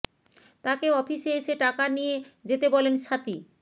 তাকে অফিসে এসে টাকা নিয়ে যেতে বলেন স্বাতী